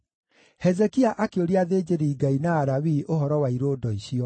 Hezekia akĩũria athĩnjĩri-Ngai na Alawii ũhoro wa irũndo icio;